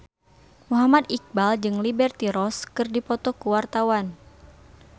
Muhammad Iqbal jeung Liberty Ross keur dipoto ku wartawan